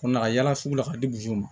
Kunna ka yala sugu la ka di buruso ma